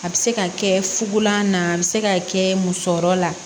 A bɛ se ka kɛ fulan na a bɛ se ka kɛ musɔrɔ la